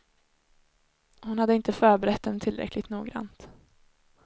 Hon hade inte förberett dem tillräckligt noggrant.